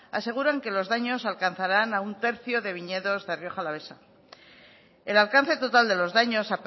aseguran que los daños alcanzarán a un tercio de viñedos de rioja alavesa el alcance total de los daños